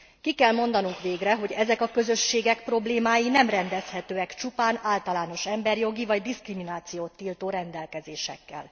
Ki kell mondanunk végre, hogy ezek a közösségek problémái nem rendezhetőek csupán általános emberjogi vagy diszkriminációt tiltó rendelkezésekkel.